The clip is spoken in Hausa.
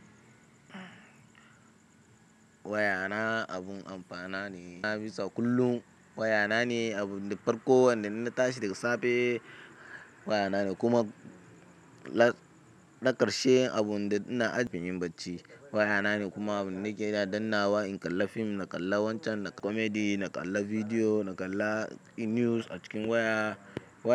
Wayana abun amfana ne, na bisa kullum. Wayana ne abun da farko wanda idan na tashi daga safe. Wayana ne kuma na ƙarshe abun da ina ajiyewa inyi ɓacin. Wayana ne kuma abin da nake daddannawa in kalla fim, na kalla wancan, na kalla comedy, na kalla bidiyo, na kalla news a cikin waya. Wayana.